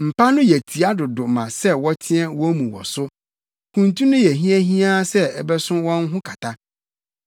Mpa no yɛ tia dodo ma sɛ wɔteɛ wɔn mu wɔ so, kuntu no yɛ hiahiaa sɛ ɛbɛso wɔn ho kata.